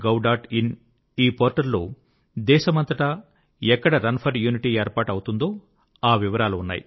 in ఈ portal లో దేశమంతటా ఎక్కడ రన్ ఫర్ యూనిటీ ఏర్పాటు అవుతుందో ఆ వివరాలు ఉన్నాయి